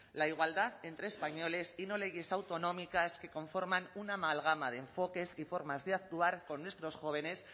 la igualdad entre españoles y no leyes autonómicas que conforman una amalgama de enfoques y formas de actuar con nuestros jóvenes